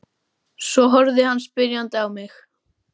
Svo horfði hann spyrjandi á mig.